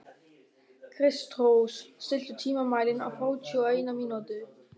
Kristrós, stilltu tímamælinn á þrjátíu og eina mínútur.